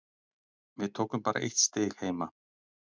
Við tókum bara eitt stig heima.